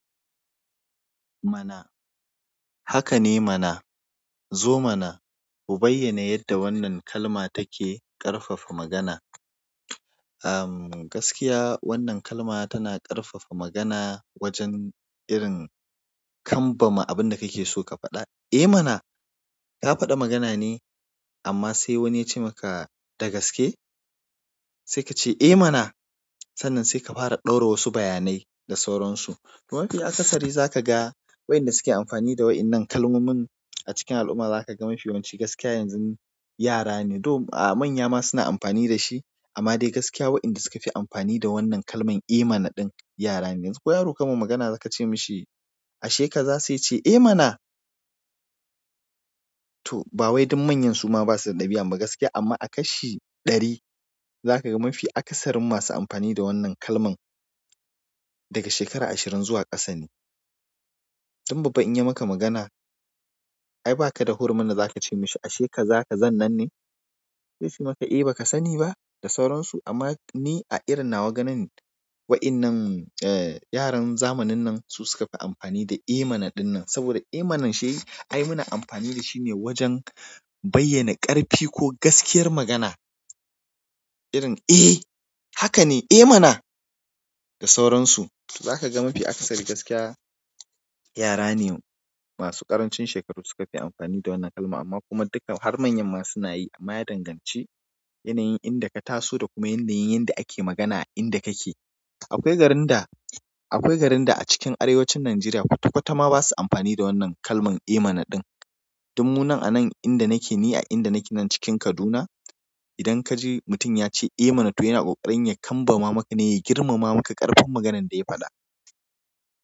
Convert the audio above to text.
Mana hakane mana zo mana ku bayyana yadda wannan kalma take ƙarfafa magana am gaskiya wannan kalma tana ƙarfafa magana wajen irin kanbama abin da kake so ka faɗa. Eh mana, ka faɗa magana ne amma sai wani ya ce maka da gaske, sai ka ce eh mana. Sannan saika fara ɗaura wasu bayanai da sauran su to mafi akasari za ka ga wayanda suke amfani da waɗannan kalmomin a cikin al'umma za ka ga mafi yawanci gaskiya yanzu yara ne. To a manya ma suna amfani da shi amma dai gaskiya wayanda suka fi amfani da wannan kalman eh mana ɗin yara ne. Ko yaro kaima magana kace mishi ashe kaza seyace eh mana to bawai dan manyan basa da ɗabi'an ba gaskiya a kashi ɗari zakaga mafi akasarin amfani da wannan kalman daga shekara ashirin zuwa ƙasa ne dan babba in ya maka magana, ai ba ka da hurmin da za ka ce mashi ashe ka za ka zan nan ne? Zaice maka yi maka eh ba ka sani ba da sauransu amma ni a irin na waganin waɗannan eh yaran zamanin nan su suka fi amfani da eh mana ɗin nan saboda eh mana shi ai muna amfani da shi ne wajen bayyana ƙarfi ko gaskiyar magana. Irin eh haka ne, eh mana da sauransu. To za ka ga mafi akasari gaskiya yara ne masu ƙarancin shekaru suka fi amfani da wannan kalma amma kuma duka har manyan ma suna yi amma ya danganci yanayin inda ka taso da kuma yanayin yanda ake magana a inda kake. Akwai garin da, akwai garin da a cikin arewacin Najeriya kwata kwata ma ba su amfani da wannan kalman eh mana ɗin. Dunmunan anan inda nake ni a inda nake nan cikin Kaduna, idan ka ji mutum ya ce eh mana to yana ƙoƙarin ya kanbama maka ne ya girmama maka ƙarfin maganan da ya faɗa.